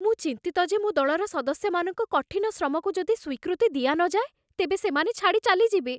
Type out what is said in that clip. ମୁଁ ଚିନ୍ତିତ ଯେ ମୋ ଦଳର ସଦସ୍ୟମାନଙ୍କ କଠିନ ଶ୍ରମକୁ ଯଦି ସ୍ୱୀକୃତି ଦିଆ ନଯାଏ, ତେବେ ସେମାନେ ଛାଡ଼ି ଚାଲିଯିବେ।